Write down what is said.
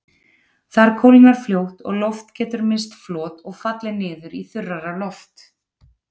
Þar kólnar fljótt og loft getur misst flot og fallið niður í þurrara loft.